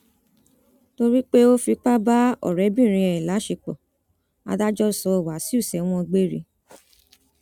torí pé ó fipá bá ọrẹbìnrin ẹ láṣepọ adájọ sọ wáṣíù sẹwọn gbére